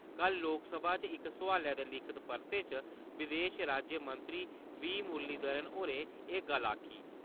कल लोकसभा च इक सोआलै दे लिखित परते च विदेश राज्यमंत्री वी. मुरलीधरन होरें एह् गल्ल आखी।